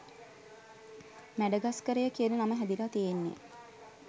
මැඩගස්කරය කියන නම හැදිලා තියෙන්නේ